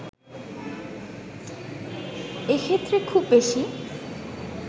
এক্ষেত্রে খুব বেশি